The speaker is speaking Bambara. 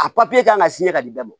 A kan ka ka nin bɛɛ bɔ